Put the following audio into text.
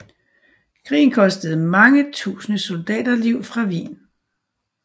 Krigen kostede mange tusinder soldaterliv fra Wien